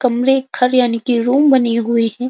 कमरे घर यानि की रूम बनी हुए हैं।